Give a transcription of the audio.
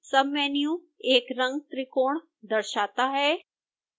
submenu एक रंगत्रिकोण दर्शाता है